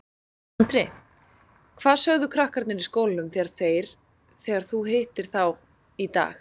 Andri: Hvað sögðu krakkarnir í skólanum þegar þeir, þegar þú hittir þá í dag?